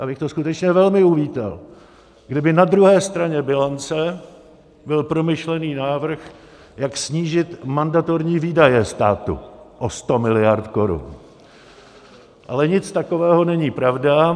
Já bych to skutečně velmi uvítal, kdyby na druhé straně bilance byl promyšlený návrh, jak snížit mandatorní výdaje státu o 100 miliard korun, ale nic takového není pravda.